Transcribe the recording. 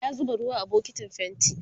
ya zuba ruwa a bukitin fainti